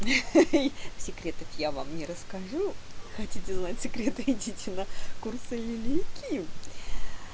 ха-ха секретов я вам не расскажу хотите знать секреты идите на курсы юлии ким